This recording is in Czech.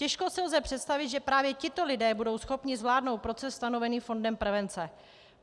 Těžko si lze představit, že právě tito lidé budou schopni zvládnout proces stanovený fondem prevence.